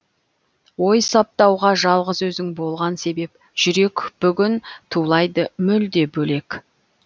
ой саптауға жалғыз өзің болған себеп жүрек бүгін тулайды мүлде бөлек